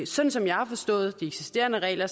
sådan som jeg har forstået de eksisterende regler